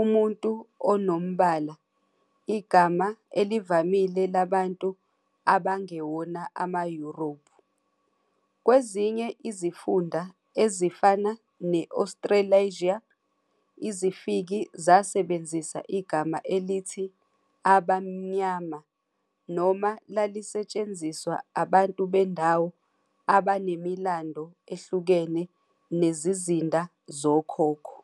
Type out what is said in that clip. "umuntu onombala", igama elivamile labantu abangewona ama-Europe. Kwezinye izifunda ezifana ne-Australasia, izifiki zasebenzisa igama elithi "abamnyama" noma lalisetshenziswa abantu bendawo abanemilando ehlukene nezizinda zokhokho.